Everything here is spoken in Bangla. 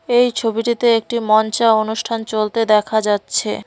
এই ছবিটিতে একটি মঞ্চে অনুষ্ঠান চলতে দেখা যাচ্ছে।